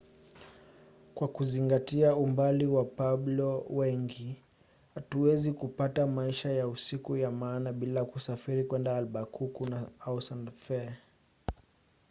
kwa kuzingatia umbali wa wapueblo wengi hutaweza kupata maisha ya usiku ya maana bila kusafiri kwenda albakuku au santa fe